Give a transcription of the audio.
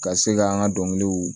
Ka se k'an ka dɔnkiliw